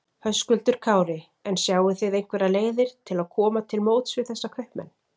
Höskuldur Kári: En sjáið þið einhverjar leiðir til að koma til móts við þessa kaupmenn?